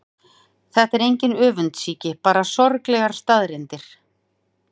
Þetta er engin öfundsýki, bara sorglegar staðreyndir.